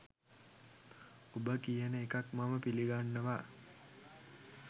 ඔබ කියන එකක් මම පිලිගන්නවා